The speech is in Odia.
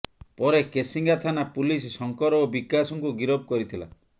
ପରେ କେସିଙ୍ଗା ଥାନା ପୁଲିସ ଶଙ୍କର ଓ ବିକାଶଙ୍କୁ ଗିରଫ କରିଥିଲା